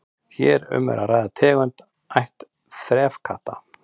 hér er um að ræða tegund af ætt þefkatta